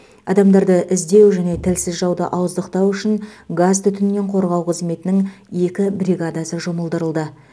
адамдарды іздеу және тілсіз жауды ауыздықтау үшін газтүтіннен қорғау қызметінің екі бригадасы жұмылдырылды